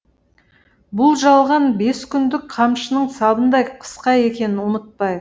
бұл жалған бес күндік қамшының сабындай қысқа екенін ұмытпайық